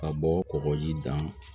Ka bɔ kɔkɔji da